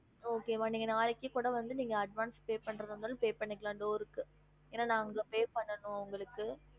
Okay மா நீங்க நாளைக்கு கூட வந்து நீங்க advance pay பண்றதா இருந்தாலும் pay பண்ணிக்கலாம் door க்கு ஏன்னா நான் அங்க pay பண்ணனும் அவங்களுக்கு